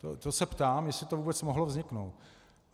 To se ptám, jestli to vůbec mohlo vzniknout.